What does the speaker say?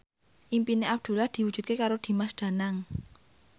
impine Abdullah diwujudke karo Dimas Danang